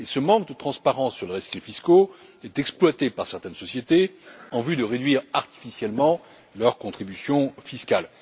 Or, ce manque de transparence sur les rescrits fiscaux est exploité par certaines sociétés en vue de réduire artificiellement leurs contributions fiscales!